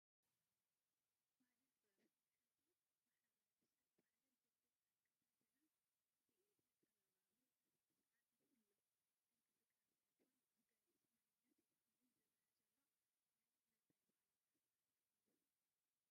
ባህልን ጥበብን፡- ናይ ሓደ ማ/ሰብ ባህልን ልምድን ብኣከዳድና፣ ብኢደጥበባዊ ኣሳዓስዓ ንኹሎም እንቅስቃሴታቱን ዝገልፅ ማንነት እዩ፡፡ እዚ ዝረአ ዘሎ ናይ ምንታይ ባህላዊ ኣሰዓስዓ እዩ?